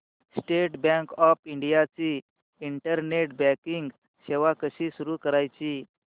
state bank of India ची internet banking सेवा कशी सुरू करायची